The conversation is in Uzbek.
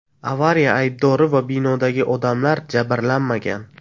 Avariya aybdori va binodagi odamlar jabrlanmagan.